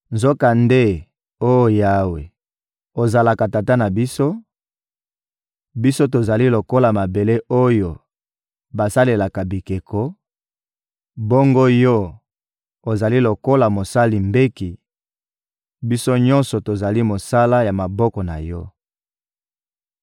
Nzokande oh Yawe, ozalaka Tata na biso; biso tozali lokola mabele oyo basalelaka bikeko, bongo Yo, ozali lokola mosali mbeki; biso nyonso tozali mosala ya maboko na Yo.